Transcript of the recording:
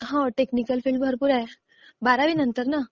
हा. Technical field भरपूर आहेत. बारावी नंतर ना?